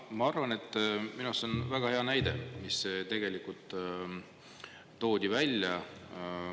Ma arvan, et minu arust see on väga hea näide, mis tegelikult toodi välja.